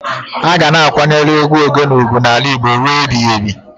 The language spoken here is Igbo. A ga na-akwanyelu egwu Ogene ugwu n'ala Igbo n'ile rue ebiyebi